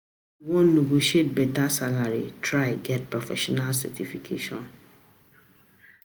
If you wan negotiate beta salary, try get professional certification.